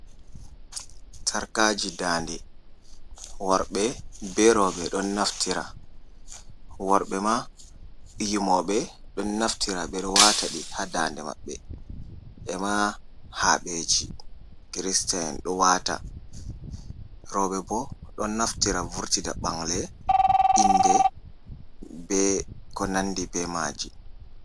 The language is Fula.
Sarkaji dande, worɓe be roɓe ɗon naftira, worɓe ma yimoɓe ɗon naftira ɓe ɗo wataɗi ha dande mabɓe ema haɓeji kirista en ɗo wata, robe bo ɗon naftira vurtida ɓangle, inde be ko nandi be maji.